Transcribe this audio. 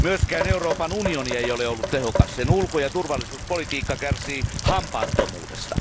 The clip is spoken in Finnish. Myöskään Euroopan unioni ei ole ollut tehokas. Sen ulko ja turvallisuuspolitiikka kärsii hampaattomuudesta.